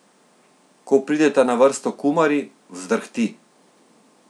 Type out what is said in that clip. Ko prideta na vrsto kumari, vzdrhti.